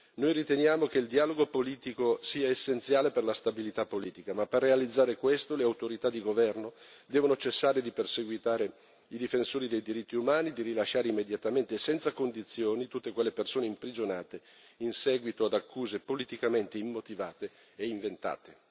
Noi riteniamo che il dialogo politico sia essenziale per la stabilità politica ma, per realizzare questo, le autorità di governo devono cessare di perseguitare i difensori dei diritti umani, rilasciare immediatamente e senza condizioni tutte quelle persone imprigionate in seguito ad accuse politicamente immotivate e inventate.